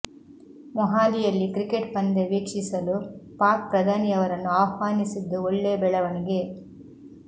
ಮೊಹಾಲಿಯಲ್ಲಿ cricket ಪಂದ್ಯ ವೀಕ್ಷಿಸಲು ಪಾಕ್ ಪ್ರಧಾನಿಯವರನ್ನು ಆಹ್ವಾನಿಸಿದ್ದು ಒಳ್ಳೆ ಬೆಳವಣಿಗೆ